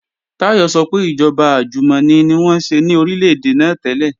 Táyọ̀ sọ pé ìjọba àjùmọ̀ni ni wọ́n ṣe ní Orílè-èdè náà tẹ́lẹ̀